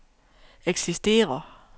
eksisterer